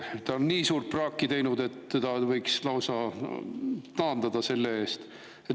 Ta on nii suurt praaki teinud, et teda võiks lausa taandada selle eest.